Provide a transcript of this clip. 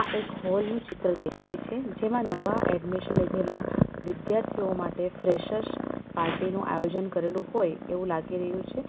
એક હોલ નું ચિત્ર દેખાય છે જેમાં નવા એડમિશન લીધેલા વિદ્યાર્થીઓ માટે ફ્રેશર્સ પાર્ટી નું આયોજન કરેલું હોય એવું લાગી રહ્યું છે.